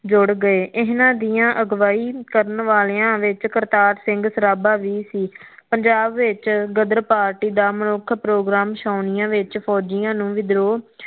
ਜੁੜ ਗਏ ਇਹਨਾ ਦੀਆ ਅਗਵਾਈ ਕਰਨ ਵਾਲਿਆ ਵਿਚ ਕਰਤਾਰ ਸਿੰਘ ਸਰਾਭਾ ਵੀ ਸੀ ਪੰਜਾਬ ਵਿਚ ਗਰਦ ਪਾਰਟੀ ਦਾ ਮਨੁੱਖ ਪ੍ਰੋਗਰਾਮ ਛੋਣਿਆ ਵਿੱਚ ਫੋਜ਼ਿਆ ਨੂੰ ਵਿਧਰੋ